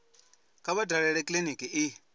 kha vha dalele kiliniki i